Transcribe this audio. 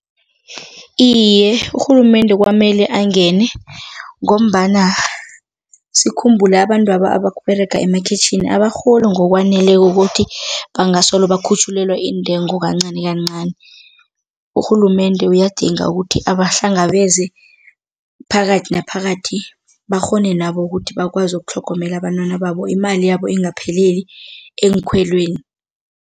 Iye, urhulumende kwamele angene ngombana sikhumbule abantwaba ababerega emakhwitjhini abarholi ngokwaneleko ukuthi bangasolo bakhutjhulelwa iintengo kancanikancani, urhulumende uyadinga ukuthi abahlangabeze phakathi naphakathi bakghone nabo ukuthi bakwazi ukutlhogomela abantwana babo, imali yabo ingapheleli eenkhwelweni.